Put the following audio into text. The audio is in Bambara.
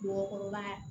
Mɔgɔkɔrɔba